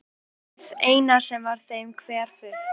Hið eina sem var þeim hverfult.